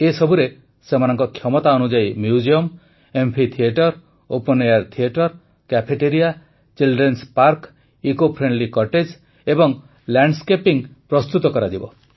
ଏସବୁରେ ସେମାନଙ୍କ କ୍ଷମତା ଅନୁଯାୟୀ museum amphitheatre open air theatre cafeteria children's park eco friendly cottage ଏବଂ ଲ୍ୟାଣ୍ଡସ୍କେପିଂ ତିଆରି କରାଯିବ